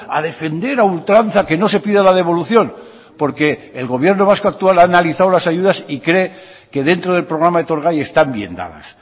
a defender a ultranza que no se pida la devolución porque el gobierno vasco actual ha analizado las ayudas y cree que dentro del programa etorgai están bien dadas